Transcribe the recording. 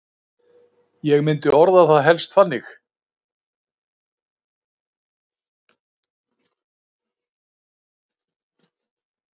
Ég myndi orða það helst þannig.